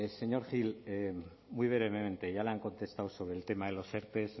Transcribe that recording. señor gil muy brevemente ya le han contestado sobre el tema de los erte